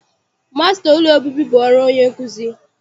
Masịta ụlọ obibi bụ ọrụ onye nkuzi.